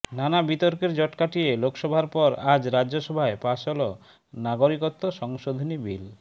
নানা বিতর্কের জট কাটিয়ে লোকসভার পর আজ রাজ্যসভায় পাশ হল নাগরিকত্ব সংশোধনী বিল